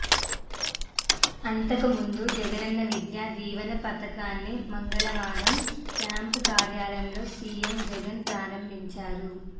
అంతకుముందుజగనన్న విద్యా దీవెన పథకాన్ని మంగళవారం క్యాంప్ కార్యాలయంలో సీఎం జగన్ ప్రారంభించారు